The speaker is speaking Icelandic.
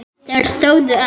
Þeir þögðu enn.